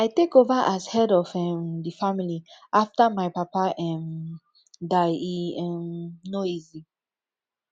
i take over as head of um di family after my papa um die e um no easy